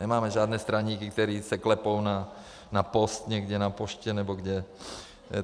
Nemáme žádné straníky, kteří se klepou na post někde na poště nebo kde.